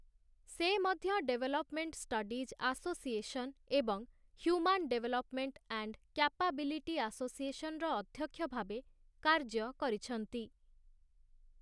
ସେ ମଧ୍ୟ development studies association ଏବଂ ହ୍ୟୁମାନ ଡେଭଲପ୍‌ମେଣ୍ଟ ଆଣ୍ଡ୍‌ କ୍ୟାପାବିଲିଟି ଆସୋସିଏସନ୍‌ର ଅଧ୍ୟକ୍ଷ ଭାବେ କାର୍ଯ୍ୟ କରିଛନ୍ତି ।